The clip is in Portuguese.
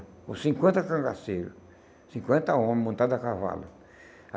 Com cinquenta cangaceiros, cinquenta homens montados a cavalo.